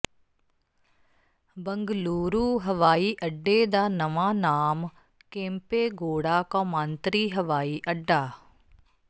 ਬੰਗਲੁਰੂ ਹਵਾਈ ਅੱਡੇ ਦਾ ਨਵਾਂ ਨਾਮ ਕੇਂਪੇਗੋੜਾ ਕੌਮਾਂਤਰੀ ਹਵਾਈ ਅੱਡਾ